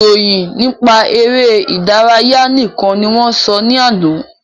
Ìròyìn nípa eré ìdárayá nìkan ni wọ́n sọ ní àná